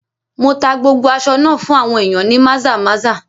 Mo tá gbogbo aṣọ náà fún àwọn ìyàn ní Maza-maza.